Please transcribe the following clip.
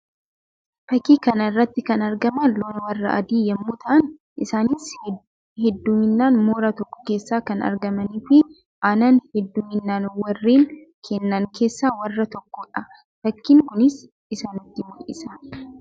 Fakkii kana irratti kan argaman loon warra adii yammuu ta'an; isaannis hedduminaan mooraa tokko keessaa kan argamanii fi aannan hedduminan warreen kennan keessa warra tokkoo dha. Fakkiin kunis isa nutti mul'isa.